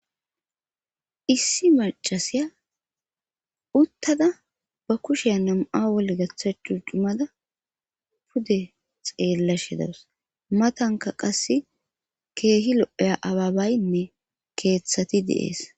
issi macasiya uttada ba kushe nam7a wole gaththa cu dumada pude xeellashe dawus matanka qass keehi lo7eya ababaynne keeththati de'ees